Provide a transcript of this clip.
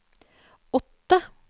åtte